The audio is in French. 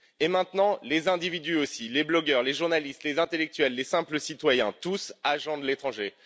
Et maintenant, les individus aussi, les blogueurs, les journalistes, les intellectuels, les simples citoyens tous agents de l'étranger!